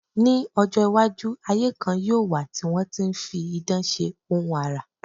Ní ọjọ́-iwájú, ayé kan yóò wà tí wọ́n ti ń fi idán ṣe ohun àrà.